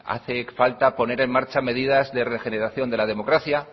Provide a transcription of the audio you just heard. hace falta poner en marcha medidas de regeneración de la democracia